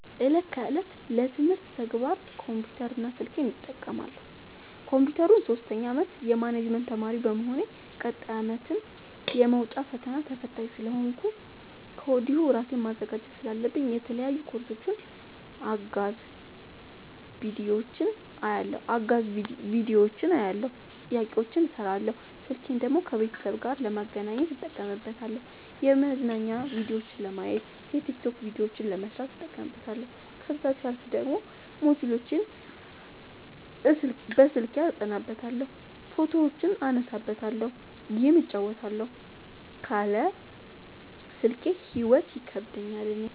እለት ከእለት ለትምህርት ተግባር ኮምፒውተር እና ስልኬን እጠቀማለሁ። ኮንፒውተሩን ሶስተኛ አመት የማኔጅመት ተማሪ በመሆኔ ቀጣይ አመትም የመውጫ ፈተና ተፈታኝ ስለሆንኩኝ ከወዲሁ እራሴን ማዘጋጀት ስላለብኝ የተለያዩ ኮርሶችን አጋዝ ቢዲዮዎችን አያለሁ። ጥያቄዎችን እሰራለሁ። ስልኬን ደግሞ ከቤተሰብ ጋር ለመገናኘት እጠቀምበታለሁ የመዝናኛ ቭዲዮዎችን ለማየት። የቲክቶክ ቪዲዮዎችን ለመስራት እጠቀምበታለሁ። ከዛሲያልፍ ደግሞ ሞጅልዎችን አስልኬ አጠናበታለሁ። ፎቶዎችን እነሳበታለሀለ። ጌም እጫወትበታለሁ ካለ ስልኬ ሂይወት ይከብደኛል እኔ።